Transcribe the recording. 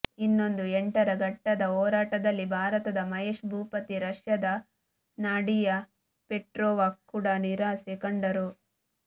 ಇನ್ನೊಂದು ಎಂಟರ ಘಟ್ಟದ ಹೋರಾಟದಲ್ಲಿ ಭಾರತದ ಮಹೇಶ್ ಭೂಪತಿ ರಷ್ಯಾದ ನಾಡಿಯಾ ಪೆಟ್ರೊವಾ ಕೂಡಾ ನಿರಾಸೆ ಕಂಡರು